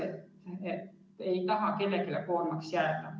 Keegi ei taha kellelegi koormaks jääda.